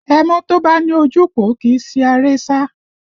Ẹmọ́ tó bá ní ojúpòó kì í si aré sá